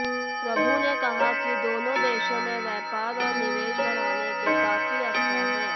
प्रभु ने कहा कि दोनों देशों में व्यापार और निवेश बढ़ाने के काफी अवसर हैं